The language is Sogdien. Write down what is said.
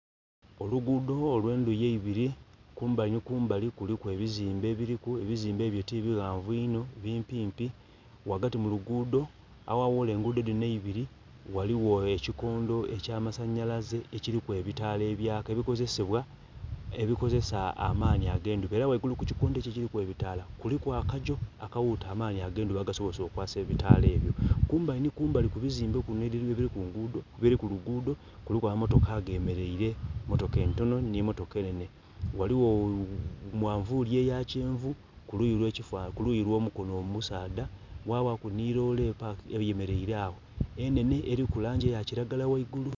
Olugudho olwendhuyi eibiri kumbali nhi kumbali kuliku ebizimbe ebiliku, ebizimbe ebyo ti bighanvu inho bimpimpi. Ghagati mu lugudho agha ghula engudho dhinho eibiri ghaligho ekikondho ekya masanhalaze ekilimu ebitaala ebyeka ebikozesa amanhi age'ndhuba era ghaigulu ku kikondho ekyo ekilimu ebitaala, kuliku akagyoo akaghuta amanhi age'ndhuba agasobozesa okwakisa ebitaala ebyo. Kumbali nhi kumbali ku ebizimbe ebiri kulugudho, kuliku ama motoka agemereire motoka entonho nhe motoka enene. Ghaligho manvuli eya kyenvu kuluyi lwo mukonho omusadha kwabaku nhi loole eyemereire agho enene eriku langi eya kilagala ghaigulu.